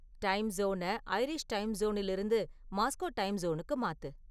time zone Irish time சோனில் இருந்து Moscow time சோனுக்கு மாத்து